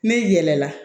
Ne yɛlɛla